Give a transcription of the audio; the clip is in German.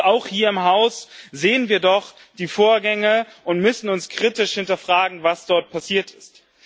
Auch hier im Haus sehen wir doch die Vorgänge und müssen kritisch hinterfragen, was dort passiert ist.